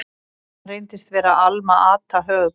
Hann reyndist vera Alma-Ata, höfuðborg